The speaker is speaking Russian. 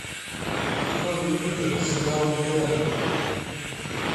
открой в ютубе сериал интерны